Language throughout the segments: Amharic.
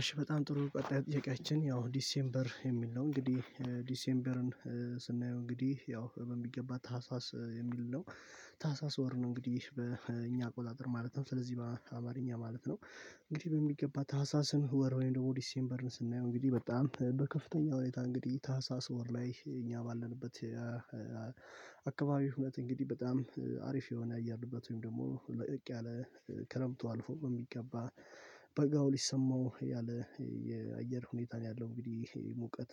እሺ በጣም ጥሩ ቀጣይ ጥያቄያችን ያው ዲሴምበር የሚል ነው እንግዲህ ዲሴምበርን ስናየው እንግዲህ ያው በሚገባ ታህሳስ የሚል ነው። ታህሳስ ወር ነው እንግዲህ በእኛ አቆጣጥር ማለት ነው ስለዚህ በአማርኛ ማለት ነው። እንግዲህ በሚገባ ታህሳስን ወር ወይም ደግሞ ዲሴምበርን ስናየው እንግዲህ በጣም በከፍተኛ ሁኔታ እንግዲህ ታህሳስ ወር ላይ እኛ ባለንበት። አካባቢ እውነት እንግዲህ በጣም አሪፍ የሆነ አያርድበት ወይም ደግሞ ለቅ ያለ ክረምቱ አልፎ በሚገባ በጋው ሊሰማው ያለ የአየር ሁኔታን ያለው እንግዲህ ሙቀት።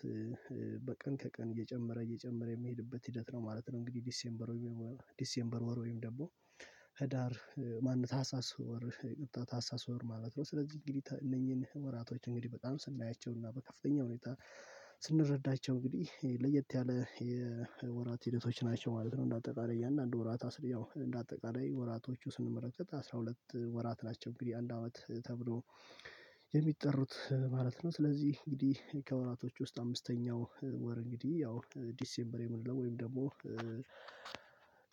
በቀን ከቀን እየጨመረ እየጨመረ የሚሄድበት ሂደት ነው ማለት ነው። እንግዲህ ዲሴምበር ወይም ዲሴምበር ወር ወይም ደግሞ ህዳር ማነው ታህሳስ ወር ታህሳስ ወር ማለት ነው። ስለዚህ እንግዲህ እነኚህን ወራቶች እንግዲህ በጣም ስናያቸውና በከፍተኛ ሁኔታ ስንረዳቸው እንግዲህ ለየት ያለ የወራት ሂደቶች ናቸው ማለት ነው። እና አጠቃላይ ያንን አንድ ወራት አስር ያው እንደ አጠቃላይ ወራቶቹ ስንመረከት አስራ ሁለት ወራት ናቸው እንግዲህ አንድ አመት ተብሎ የሚጠሩት ማለት ነው። ስለዚህ እንግዲህ ከወራቶች ውስጥ አምስተኛው ወር እንግዲህ ያው ዲሴምበር የምንለው ወይም ደግሞ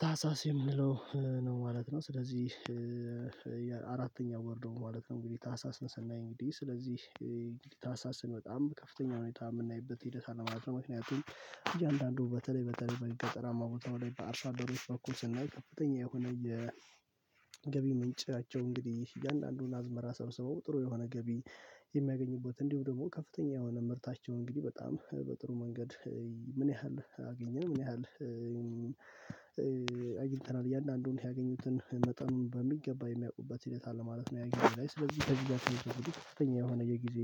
ታህሳስ የምንለው ነው ማለት ነው። ስለዚህ አራተኛው ወር ደግሞ ማለት ነው እንግዲህ ታህሳስ ነው ሰናይ እንግዲህ ስለዚህ እንግዲህ ታህሳስ ነው በጣም ከፍተኛ ሁኔታ የምናይበት ሂደት አለ ማለት ነው። ምክንያቱም እያንዳንዱ በተለይ በተለይ በገጠራማ ቦታው ላይ በአርሶ አደሩ ደረጃ በኩል ስናይ ከፍተኛ የሆነ የ የገቢ ምንጫቸው እንግዲህ እያንዳንዱን አዝመራ ሰብስበው ጥሩ የሆነ ገቢ የሚያገኙበት እንዲሁ ደግሞ ከፍተኛ የሆነ ምርታቸው እንግዲህ በጣም በጥሩ መንገድ። ምን ያህል አገኘን ምን ያህል አይተናል እያንዳንዱን ያገኙትን መጠኑን በሚገባ የሚያውቁበት ሂደት አለ ማለት ነው። ያገኘው ላይ ስለዚህ ተግባራችን የሚያደርጉት ስተኛ የሆነ የጊዜ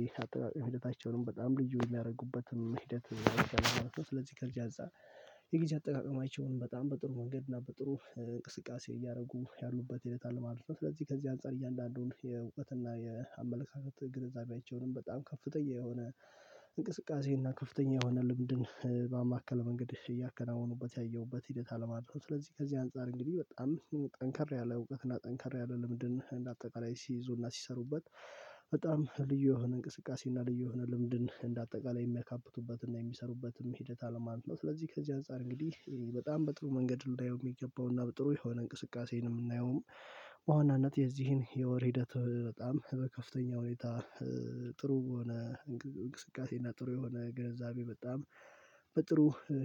ህይወታቸውንም በጣም ልጁ የሚያደርጉበትም ሂደት ስለዚህ ከዚህ አዛ የጊዜ አጠቃቀማችሁን በጣም በጥሩ መንገድ እና በጥሩ እንቅስቃሴ እያደረጉ ያሉበት ይላል ማለት ነው። ስለዚህ ከዚህ አንፃር እያንዳንዱን የውበትና የአመለካከት ግንዛቤያቸውንም በጣም ከፍተኛ የሆነ እንቅስቃሴ እና ከፍተኛ የሆነ ልምድን በማዕከል መንገድ እሺ እያከናወኑበት ያየሁበት ሂደት አለማድረግ ስለዚህ ከዚህ አንፃር እንግዲህ በጣም ጠንከር ያለ እውቀት እና ጠንከር ያለ ለምንድን እንደ አጠቃላይ ሲይዙና ሲሰሩበት በጣም ልዩ የሆነ እንቅስቃሴ እና ልዩ የሆነ ልምድን እንደ አጠቃላይ የሚያካብቱበት እና የሚሰሩበትም ሂደት አለ ማለት ነው። ስለዚህ ከዚህ አንፃር እንግዲህ በጣም በጥሩ መንገድ እንዳየው የሚገባውና በጥሩ የሆነ እንቅስቃሴ ነው የምናየውም በዋናነት የዚህን የወር ሂደት በጣም በከፍተኛ ሁኔታ ጥሩ በሆነ እንቅስቃሴ እና ጥሩ የሆነ ግንዛቤ በጣም በጥሩ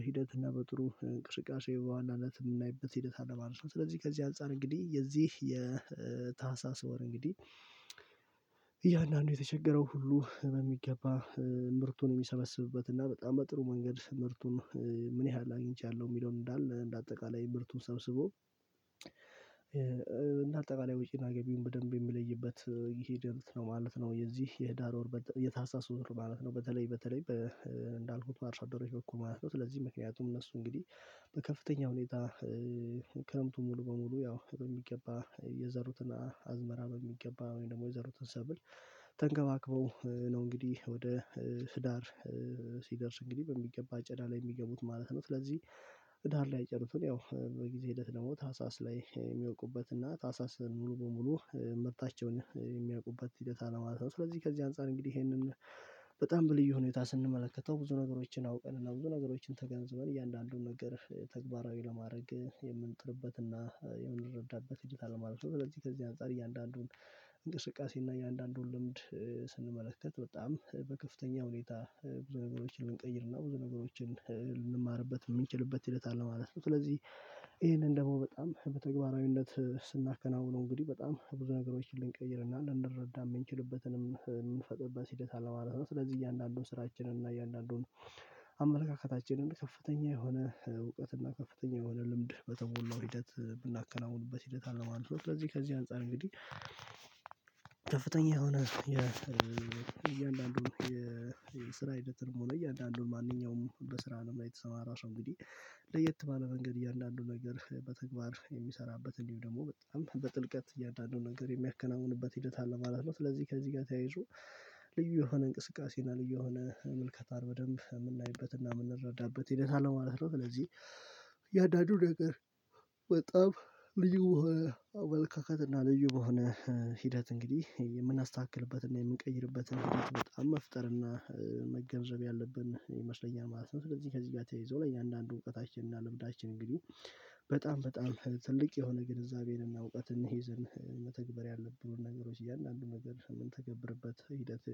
ሂደት እና በጥሩ እንቅስቃሴ የበዋናነት የምናይበት ሂደት አለ ማለት ነው። ስለዚህ ከዚህ አንፃር እንግዲህ የዚህ የታህሳስ ወር እንግዲህ እያንዳንዱ የተቸገረው ሁሉ በሚገባ ምርቱን የሚሰበስብበት እና በጣም በጥሩ መንገድ ምርቱን ምን ያህል አግኝቻለሁ የሚለውን እንዳለ እንደ አጠቃላይ ምርቱን ሰብስቦ እንደ አጠቃላይ ወጪና ገቢውን ውድድር ማለት ነው። በተለይ በተለይ እንዳልኩት አርሳዶሪዎች በኩል ማለት ነው ስለዚህ ምክንያቱም እነሱ እንግዲህ በከፍተኛ ሁኔታ ክረምቱ ሙሉ በሙሉ ያው በሚገባ የዘሩትን አዝመራ በሚገባ ወይም ደግሞ የዘሩትን ሰብል ተንገባግበው ነው እንግዲህ ወደ ትዳር ሲደርስ እንግዲህ በሚገባ አጨዳ ላይ የሚገቡት ማለት ነው። ስለዚህ ትዳር ላይ የዘሩትን ያው በጊዜ ሂደት ደግሞ ታህሳስ ላይ የሚያውቁበት እና ታህሳስ ሙሉ በሙሉ መብታቸውን የሚያውቁበት ሂደት አለማት ነው። ስለዚህ ከዚህ አንፃር እንግዲህ ይሄንን በጣም በልዩ ሁኔታ ስንመለከተው ብዙ ነገሮችን አውቀን እና ብዙ ነገሮችን ተገንዝበን እያንዳንዱን ነገር ተግባራዊ ለማድረግ የምንጥርበትና የምንረዳበት እድልታል ማለት ነው። ለዚህ ከዚህ አንፃር እያንዳንዱን እንቅስቃሴ እና እያንዳንዱን ልምድ በጣም በከፍተኛ ሁኔታ ብዙ ነገሮችን ልንቀይርና ብዙ ነገሮችን ልንማርበት የምንችልበት ሂደት አለ ማለት ነው። ስለዚህ ይሄንን ደግሞ በጣም በተግባራዊነት ስናከናውነው እንግዲህ በጣም ብዙ ነገሮችን ልንቀይርና ልንረዳ የምንችልበትንም የምንፈጥርበት ሂደት አለ ማለት ነው። ስለዚህ እያንዳንዱን ስራችንን እና እያንዳንዱን አመለካከታችንን ከፍተኛ የሆነ እውቀት እና ከፍተኛ የሆነ ልምድ በተሞላው ሂደት ምናከናውንበት ሂደት አለ ማለት ነው። ስለዚህ ከዚህ አንፃር እንግዲህ ከፍተኛ የሆነ የእያንዳንዱ የስራ ሂደት እንመልከት እያንዳንዱን ማንኛውም በስራ ላይ የተሰማራቸው እንግዲህ ለየት ባለ መንገድ እያንዳንዱን ነገር በተግባር የሚሰራበትን ወይም ደግሞ በጥልቀት እያንዳንዱን ነገር የሚያከናውንበት ሂደት አለ ማለት ነው። ስለዚህ ከዚህ ጋር ተያይዞ ልዩ የሆነ እንቅስቃሴ እና ልዩ የሆነ ምልከታ በደንብ የምናይበትና የምንረዳበት ሂደት አለማለት ነው። ስለዚህ እያንዳንዱ ነገር በጣም ልዩ አወልካከትና ልዩ በሆነ ሂደት እንግዲህ የምናስተካክልበት እና የምንቀይርበት በጣም መፍጠር እና መገንዘብ ያለብን ይመስለኛል ማለት ነው። ስለዚህ ከዚህ ጋር ተይዞ ለእያንዳንዱ እውቀታችን እና ልብዳችን እንግዲህ በጣም በጣም ትልቅ የሆነ ግንዛቤንና እውቀትን ይዘን መተግበር ያለብን ነገሮች እያንዳንዱ ነገር ምንተገብርበት ሂደት